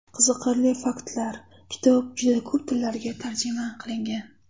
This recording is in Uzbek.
Qiziqarli faktlar - Kitob juda ko‘p tillarga tarjima qilingan.